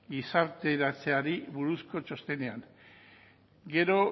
gizarteratzeari buruzko txostenean gero